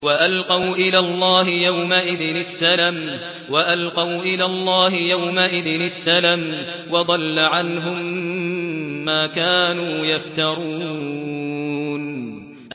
وَأَلْقَوْا إِلَى اللَّهِ يَوْمَئِذٍ السَّلَمَ ۖ وَضَلَّ عَنْهُم مَّا كَانُوا يَفْتَرُونَ